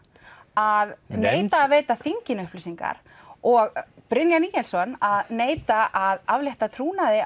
að neita að veita þinginu upplýsingar og Brynjar Níelsson að neita að aflétta trúnaði